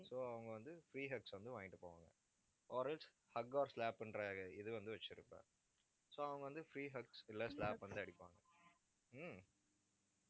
so அவங்க வந்து, free hugs வந்து வாங்கிட்டு போவாங்க. hug or slap ன்ற இது வந்து, வச்சிருப்ப. so அவங்க வந்து, free hugs இல்ல slap வந்து, அடிப்பாங்க ஹம்